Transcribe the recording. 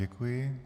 Děkuji.